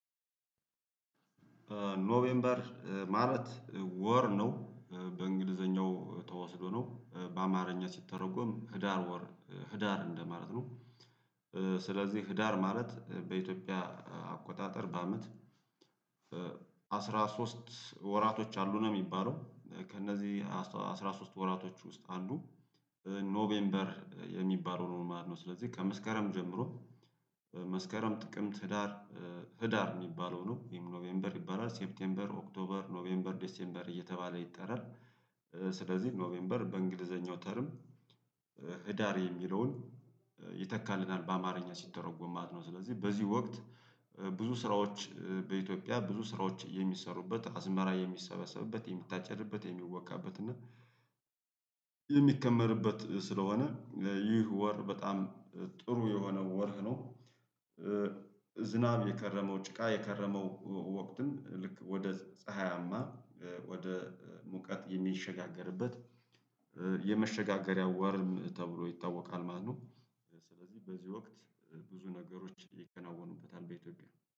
ኖቬምበር ማለት ወር ነው በእንግሊዘኛው ተወስዶ ነው በአማርኛ ሲተረጎም ህዳር ወር ህዳር እንደማለት ነው። ስለዚህ ህዳር ማለት በኢትዮጵያ አቆጣጠር በአመት አስራ ሶስት ወራቶች አሉ ነው የሚባለው ከእነዚህ አስራ ሶስት ወራቶች ውስጥ አንዱ ኖቬምበር የሚባለው ነው ማለት ነው። ስለዚህ ከመስከረም ጀምሮ መስከረም ጥቅምት ህዳር ህዳር የሚባለው ነው ይሄም ኖቬምበር ይባላል ሴፕቴምበር ኦክቶበር ኖቬምበር ዴሴምበር እየተባለ ይጠራል። ስለዚህ ኖቬምበር በእንግሊዘኛው ተርም ህዳር የሚለውን ይተካልን በ አማርኛ ሲተረጎም ማለት ነው። ስለዚህ በዚህ ወቅት ብዙ ስራዎች በኢትዮጵያ ብዙ ስራዎች የሚሰሩበት አዝመራ የሚሰበሰብበት የምታጨድበት የሚወቃበት እና የሚከመርበት ስለሆነ ይህ ወር በጣም ጥሩ የሆነ ወርህ ነው። ዝናብ የከረመው ጭቃ የከረመው ወቅትን ልክ ወደ ፀሀያማ ወደ ሙቀት የሚሸጋገርበት የመሸጋገሪያው ወርም ተብሎ ይታወቃል ማለት ነው። ስለዚህ በዚህ ወቅት ብዙ ነገሮች ይከናወኑበታል ቤተክርስቲያን